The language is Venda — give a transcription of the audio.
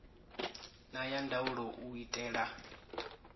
na ya ndaulo u itela